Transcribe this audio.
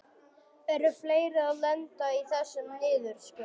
Eru fleiri að lenda í þessum niðurskurði?